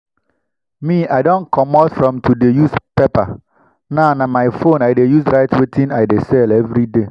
me i don comot from to dey use paper. now na my phone i dey use write wetin i dey sell everyday